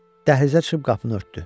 Dəhlizə çıxıb qapını örtdü.